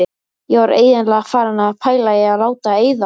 Ég var eiginlega farin að pæla í að láta eyða.